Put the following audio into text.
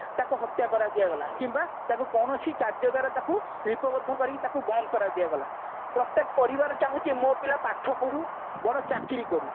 ତାକୁ ହତ୍ୟା କରା ଦିଆଗଲା କିମ୍ବା ତାକୁ କୌଣସି କାର୍ଯ୍ୟଦ୍ଵାରା ତାକୁ କରି ତାକୁ ବନ୍ଦ କର ଦିଆଗଲା ପ୍ରତ୍ଯେକ ପରିବାର ଚାହୁଁଛି ମୋ ପିଲା ପାଠ ପଢୁ ବଡ ଚାକିରି କରୁ